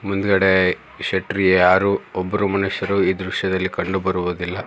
ಮುಂದ್ಗಡೆ ಶೆಟ್ರು ಯಾರು ಒಬ್ರು ಮನುಷ್ಯರೂ ಈ ದೃಶ್ಯದಲ್ಲಿ ಕಂಡು ಬರುವುದಿಲ್ಲ.